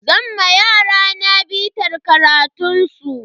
Zan ma yarana bitar karatun su.